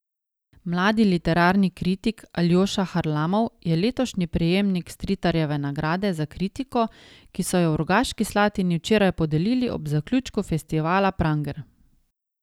Mladi literarni kritik Aljoša Harlamov je letošnji prejemnik Stritarjeve nagrade za kritiko, ki so jo v Rogaški Slatini včeraj podelili ob zaključku festivala Pranger.